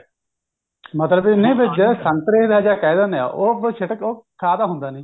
ਮਤਲਬ ਇਹਨੇ ਭਜਿਆ ਸੰਤਰੇ ਦਾ ਜਾ ਕਹਿ ਦਿੰਦੇ ਆ ਉਹ ਆਪਾਂ ਸਿੱਟ ਉਹ ਖਾ ਤਾਂ ਹੁੰਦਾ ਨੀ